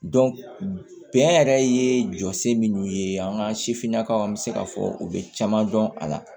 bɛn yɛrɛ ye jɔsi minnu ye an ka sifinnakaw an bɛ se k'a fɔ u bɛ caman dɔn a la